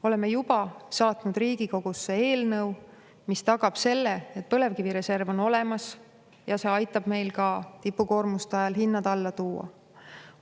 Oleme juba saatnud Riigikogusse eelnõu, mis tagab selle, et põlevkivireserv on olemas ja see aitab meil tipukoormuste ajal hinnad alla tuua.